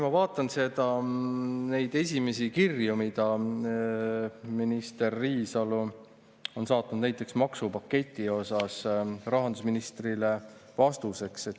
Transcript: Ma vaatan neid esimesi kirju, mida minister Riisalo on saatnud näiteks maksupaketi kohta rahandusministrile vastuseks.